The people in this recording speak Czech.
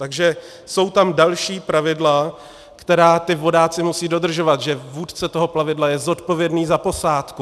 Takže jsou tam další pravidla, která ti vodáci musí dodržovat, že vůdce toho plavidla je zodpovědný za posádku.